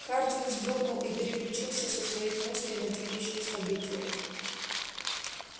хардин вздрогнул и переключился со своих мыслей на текущие события